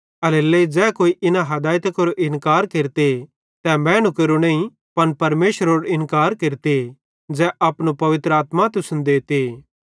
एल्हेरेलेइ ज़ै कोई इना हदायतां केरो इन्कार केरते तै मैनू केरो नईं पन परमेशरेरो इन्कार केरते ज़ै अपनो पवित्र आत्मा तुसन देते